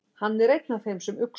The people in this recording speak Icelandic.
Hann er einn af þeim sem uxu.